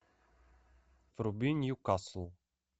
вруби ньюкасл